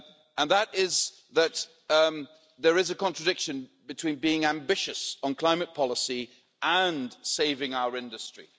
And that is that there is a contradiction between being ambitious on climate policy and saving our industry.